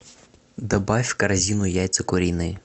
добавь в корзину яйца куриные